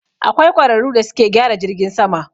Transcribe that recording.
Akwai ƙwararu da suke gyara jirgin sama.